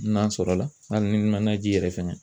N'a sɔrɔ la hali n'i ma na ji yɛrɛ fɛnɛ